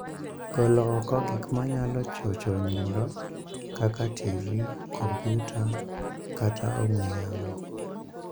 Gol oko gik manyalo chocho nindo, kaka TV, kompyuta, kata ong'we yamo.